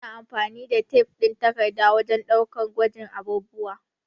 Muna amfani da tef ɗin takarda wajen ɗaukar gwajin abubuwa